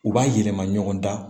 U b'a yɛlɛma ɲɔgɔn na